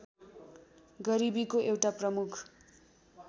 गरिबीको एउटा प्रमुख